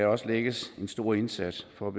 også lægges en stor indsats for